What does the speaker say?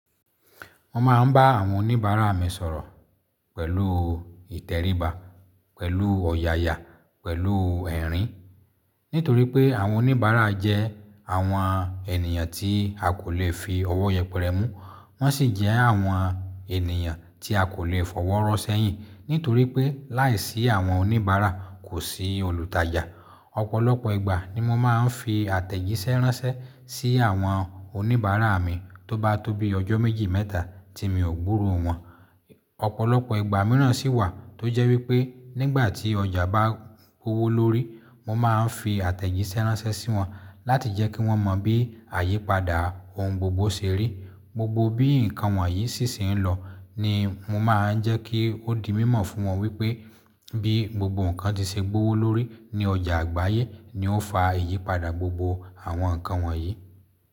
Mo máa ń bá àwọn oníbàárà mi sọ̀rọ̀ pẹ̀lú ìtẹríba, pẹ̀lú ọ̀yàyà, pẹ̀lú ẹ̀rín. Nítorí pé àwọn oníbàárà jẹ́ àwọn ènìyàn tí a kò lè fi ọwọ́ yẹpẹrẹ mú, wọ́n sì jẹ́ àwọn ènìyàn tí a kò lè fọwọ́ rọ sẹ́yìn. Nítorí pé láìsí àwọn oníbàárà, kò sí olùtajà. Ọ̀pọ̀lọpọ̀ ìgbà ni mo máa ń fi àtẹ̀jíṣẹ́ ránṣẹ́ sí àwọn oníbàárà mi tó bá tóbi ọjọ́ méjì mẹ́ta tí mi ò gbúrò wọ́n. Ọ̀pọ̀lọpọ̀ ìgbà mìíràn sì wà tó jẹ́ wípé nígbà tí ọjà bá gbówó lórí, mo máa ń fi àtẹ̀jíṣẹ́ ránṣẹ́ sí wọn láti jẹ́ kí wọ́n mọ bí àyípadà ohun gbogbo ṣe rí. Gbogbo bí ǹkan wọ̀nyí sì ṣe ń lọ ni mo máa ń jẹ́ kí ó di mímọ̀ fún wọn wípé bí gbogbo ǹkan ti ṣe gbówó lórí ní ọjà àgbáyé ni ó ń fa ìyípadà gbogbo àwọn ǹkan wọ̀nyí.